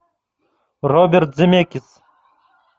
роберт земекис